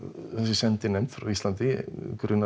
þessi sendinefnd frá Íslandi grunar